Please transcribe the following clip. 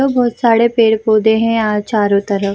और बहुत सारे पेड़-पौधे हैं यहाँ चारों तरफ।